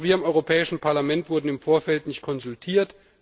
Auch wir im Europäischen Parlament wurden im Vorfeld nicht konsultiert.